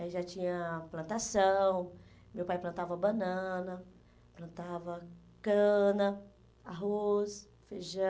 Aí já tinha plantação, meu pai plantava banana, plantava cana, arroz, feijão.